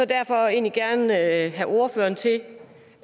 derfor egentlig gerne have ordføreren til